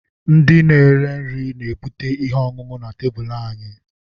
ndị na-ere nri na-ebute ihe ọṅụṅụ na tebụl anyị.